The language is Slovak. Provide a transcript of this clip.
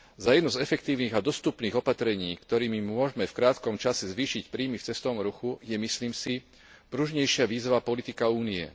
Jedným z efektívnych a dostupných opatrení, ktorými môžeme v krátkom čase zvýšiť príjmy v cestovnom ruchu, je, myslím si, pružnejšia vízová politika Únie.